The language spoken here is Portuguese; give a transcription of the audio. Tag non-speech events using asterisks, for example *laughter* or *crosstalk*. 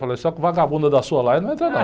Falei, só que *unintelligible* da sua laia não entra não.